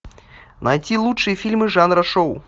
найти лучшие фильмы жанра шоу